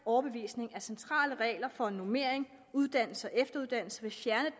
overbevisning at centrale regler for normering uddannelse og efteruddannelse vil fjerne